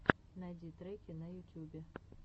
найди треки на ютюбе